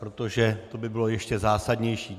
Protože to by bylo ještě zásadnější.